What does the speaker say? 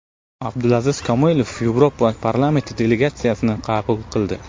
Abdulaziz Komilov Yevropa parlamenti delegatsiyasini qabul qildi.